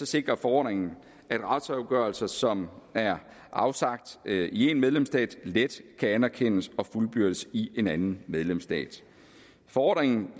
sikrer forordningen at retsafgørelser som er afsagt i én medlemsstat let kan anerkendes og fuldbyrdes i en anden medlemsstat forordningen